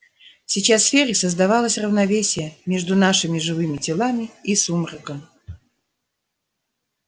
сейчас в сфере создавалось равновесие между нашими живыми телами и сумраком